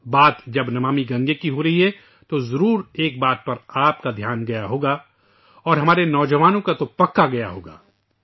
بات جب 'نمامی گنگے' کی ہو رہی ہے تو آپ کا دھیان ایک بات کی طرف ضرور گئی ہوگی اور ہمارے نوجوانوں کا دھیان تو یقینا گیا ہوگا